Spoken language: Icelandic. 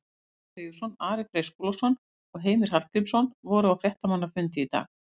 Ragnar Sigurðsson, Ari Freyr Skúlason og Heimir Hallgrímsson voru á fréttamannafundi í dag.